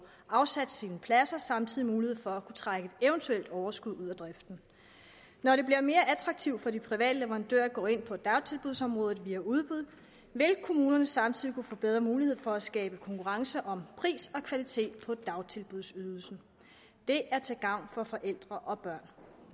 afsat sine pladser og samtidig mulighed for at kunne trække eventuelt overskud ud af driften når det bliver mere attraktivt for de private leverandører at gå ind på dagtilbudsområdet via udbud vil kommunerne samtidig få bedre mulighed for at skabe konkurrence om pris og kvalitet på dagtilbudsydelsen det er til gavn for forældre og børn